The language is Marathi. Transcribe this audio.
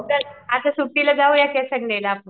तर अस सुट्टीला जाऊया कि संडे ला आपण